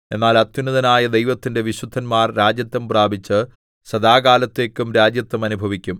എന്നാൽ അത്യുന്നതനായ ദൈവത്തിന്റെ വിശുദ്ധന്മാർ രാജത്വം പ്രാപിച്ച് സദാകാലത്തേക്കും രാജത്വം അനുഭവിക്കും